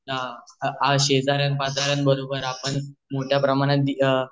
शेजार्यान पाजार्यान बरोबर आपण मोठ्या प्रमाणात दि अ